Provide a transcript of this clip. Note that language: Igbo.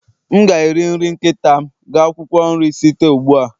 M ga-eri nri nkịta m ga akwụkwọ nri site ugbu a